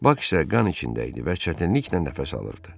Bak isə qan içində idi və çətinliklə nəfəs alırdı.